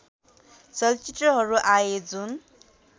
चलचित्रहरू आए जुन